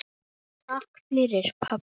Takk fyrir pabbi.